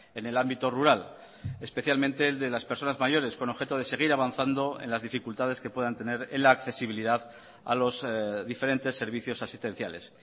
en el ámbito rural especialmente el de las personas mayores con objeto de seguir avanzando en las dificultades que puedan tener en la accesibilidad a los diferentes servicios asistenciales